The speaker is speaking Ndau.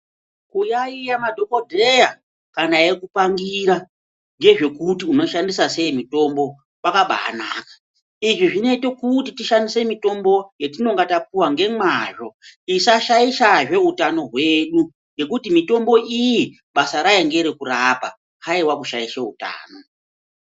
Kuyayiya madhokodheya kana eikupangira ngezvekuti unoshandisa sei mutombo kwakabaanaka. lzvi zvinoite kuti timwe mitombo yatinenge tapuva ngemwazvo tisashaishazve utano hwedu ngekuti mitombo iyi basa rayo ngerekurapa haiwa kushaisha utano.